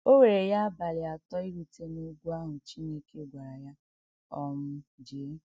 O were ya abalị atọ irute n’ugwu ahụ Chineke gwara ya um jee.